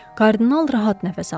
Kardinal rahat nəfəs aldı.